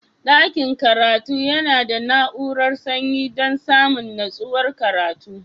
Dakin karatu yana da na'urar sanyi dan samun nutsuwar karatu.